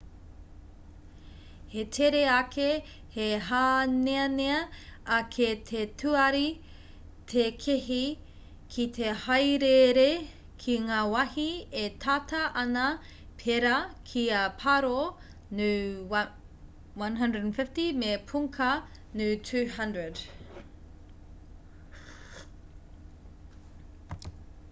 he tere ake he hāneanea ake te tuari tēkehi ki te haereere ki ngā wahi e tata ana pērā ki a paro nu 150 me punkha nu 200